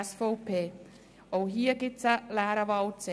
Auch hier gibt es einen leeren Wahlzettel.